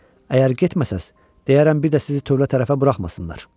Əgər getməsəz, deyərəm bir də sizi tövlə tərəfə buraxmasınlar.